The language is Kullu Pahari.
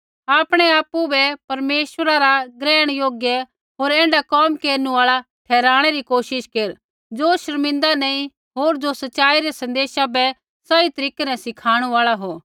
आपणै आपु बै परमेश्वरा रा ग्रहण योग्य होर ऐण्ढा कोम केरनु आल़ा ठहराणै री कोशिश केर ज़ो शर्मिंदा नैंई होर ज़ो सच़ाई रै सन्देशा बै सही तरीकै न सिखाणु आल़ा हो